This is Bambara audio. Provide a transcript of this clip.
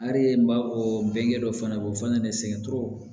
n b'a fɔ bɛnkɛ dɔ fana b'o fana sɛgɛn tɔɔrɔ